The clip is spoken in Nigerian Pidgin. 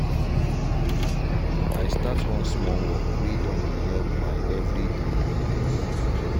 i start one small work way don dey help my everyday living